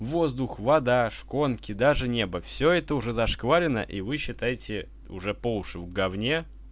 воздух вода шконки даже небо все это уже зашкварено и вы считаете уже по уши в говне